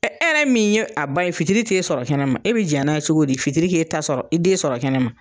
e yɛrɛ min ye a ba ye fitiri t'e sɔrɔ kɛnɛma, e be diya n'a ye cogo di fitiri k'e ta sɔrɔ i den sɔrɔ kɛnɛma?